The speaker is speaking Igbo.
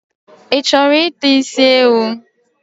Ichoro ita isi ewu?